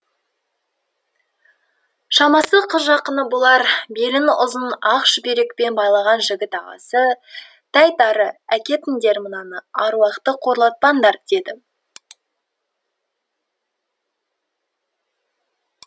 шамасы қыз жақыны болар белін ұзын ақ шүберекпен байлаған жігіт ағасы тәйт ары әкетіңдер мынаны аруақты қорлатпаңдар деді